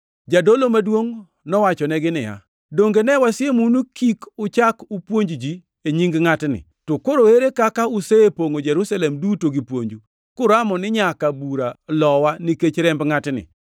Jadolo maduongʼ nowachonegi niya, “Donge ne wasiemou ni kik uchak upuonj ji e nying ngʼatni, to koro ere kaka usepongʼo Jerusalem duto gi puonju, kuramo ni nyaka bura lowa nikech remb ngʼatni?”